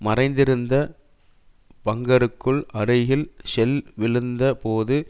மறைந்திருந்த பங்கருக்கு அருகில் ஷெல் விழுந்த போது